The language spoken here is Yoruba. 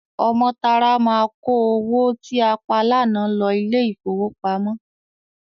Ọmọ́tárá máa kó owó tí a pa lánàá lọ ilé-ìfowópamọ́.